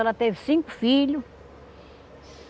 Ela teve cinco filho.